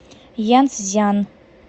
янцзян